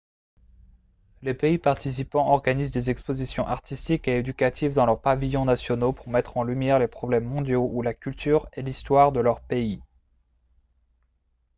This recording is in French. les pays participants organisent des expositions artistiques et éducatives dans leurs pavillons nationaux pour mettre en lumière les problèmes mondiaux ou la culture et l'histoire de leur pays